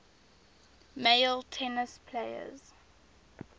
male tennis players